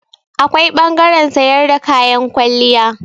Akwai ɓangaren sayar da kayan kwalliya.